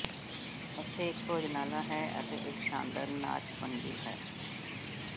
ਉੱਥੇ ਇੱਕ ਭੋਜਨਾਲਾ ਹੈ ਅਤੇ ਇੱਕ ਸ਼ਾਨਦਾਰ ਨਾਚ ਮੰਜ਼ਿਲ ਹੈ